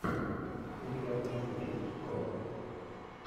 у тебя в списке есть крот